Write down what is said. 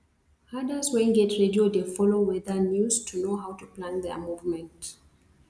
herders wen get radio dey follow weather news to know how to plan their movement